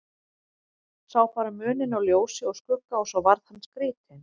Sá bara muninn á ljósi og skugga og svo varð hann skrítinn.